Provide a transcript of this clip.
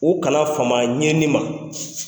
U ka na fama a ɲɛni ma.